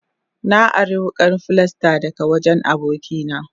Na ari wukan filasta daga wajen abokina.